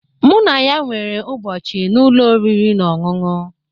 Mụ na ya nwere ụbọchị na ụlọ oriri na ọṅụṅụ